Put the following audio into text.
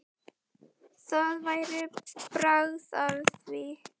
Það væri bragð af því!